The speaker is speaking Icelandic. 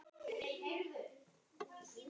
Og allir.